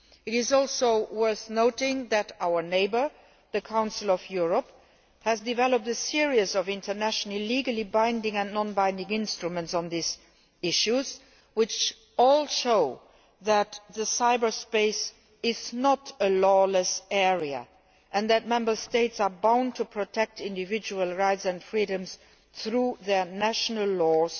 It is also worth noting that our neighbour, the Council of Europe, has developed a series of international legally binding and non binding instruments on these issues, which all show that cyberspace is not a lawless area and that Member States are bound to protect individual rights and freedoms through their national laws,